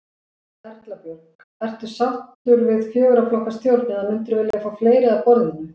Erla Björg: Ertu sáttur við fjögurra flokka stjórn eða myndirðu vilja fá fleiri að borðinu?